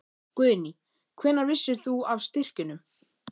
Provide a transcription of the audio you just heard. Guðný: Hvenær vissir þú af styrkjunum?